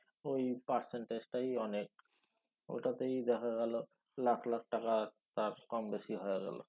ঐ percentage টাই অনেক। ওইটাতেই দেখা গেলো লাখ লাখ টাকা কম বেশি হয়া গেলো।